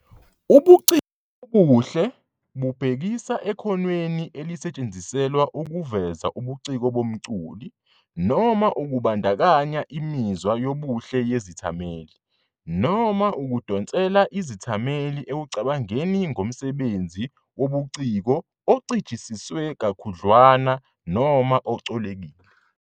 Ubuciko obuhle bubhekisa ekhonweni elisetshenziselwa ukuveza ubuciko bomculi, noma ukubandakanya imizwa yobuhle yezithameli, noma ukudonsela izethameli ekucabangeni ngomsebenzi wobuciko "ocijisiswe kakhudlwana noma ocolekile."